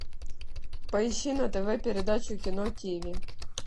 поищи на тв передачу кино тиви